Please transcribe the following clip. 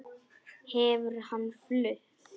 Hefur hann flutt?